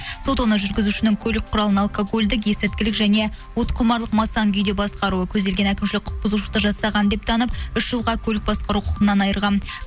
сот оны жүргізушінің көлік құралын алкогольдік есірткілік және уытқұмарлық масаң күйде басқаруы көзделген әкімшілік құқық құзушылықты жасаған деп танып үш жылға көлік басқару құқығынан айырған